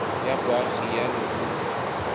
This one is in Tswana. ya boagi ya leruri kgotsa